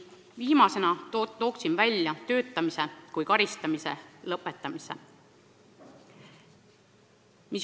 Viimasena tooksin välja töötamise kui karistamise lõpetamise.